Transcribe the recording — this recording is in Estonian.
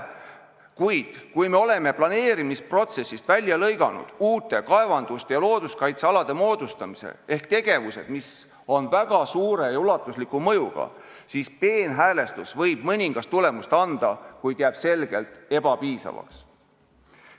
Kuid kui me oleme planeerimisprotsessist välja lõiganud uute kaevanduste ja looduskaitsealade moodustamise ehk tegevused, mis on väga suure ja ulatusliku mõjuga, siis peenhäälestus võib mõningast tulemust anda, kuid jääb selgelt ebapiisavaks.